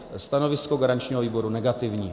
Stanovisko garančního výboru negativní.